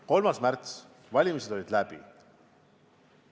3. märts, valimiste päev on läbi.